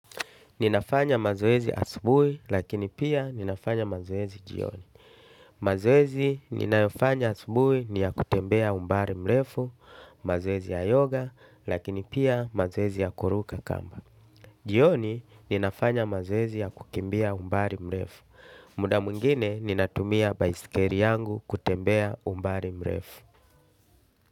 Ninafanya mazowezi asubui lakini pia ninafanya mazowezi jioni. Mazoezi ninayofanya asubuhi ni ya kutembea umbali mrefu, mazoezi ya yoga lakini pia mazoezi ya kuruka kamba. Jioni ninafanya mazoezi ya kukimbia umbali mrefu. Muda mwingine ninatumia baisikeli yangu kutembea umbali mrefu.